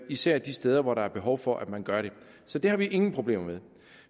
især de steder hvor der er behov for at man gør det så det har vi ingen problemer med